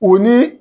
O ni